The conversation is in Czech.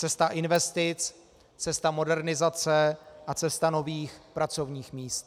Cesta investic, cesta modernizace a cesta nových pracovních míst.